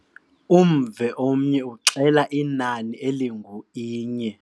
Umvo omnye uxela inani elingu-inye.